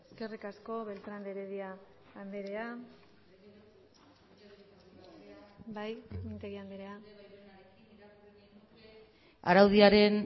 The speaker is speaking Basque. eskerrik asko beltrán de heredia andrea bai mintegi andrea araudiaren